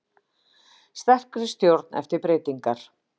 Sterkari stjórn eftir breytingar